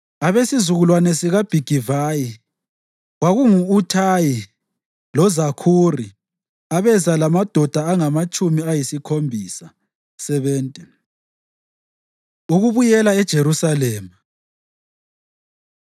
abesizukulwane sikaBhigivayi, kwakungu-Uthayi loZakhuri, abeza lamadoda angamatshumi ayisikhombisa (70). Ukubuyela EJerusalema